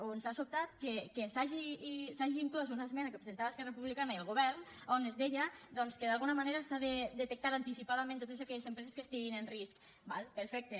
o ens ha sobtat que s’hagi inclòs una esmena que presentava esquerra republicana i el govern on es deia doncs que d’alguna manera s’han de detectar anticipadament totes aquelles empreses que estiguin en risc d’acord perfecte